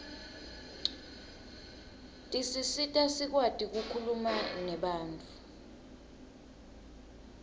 tisisita sikwati kukhuluma nebantfu